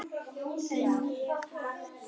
En ég vakti.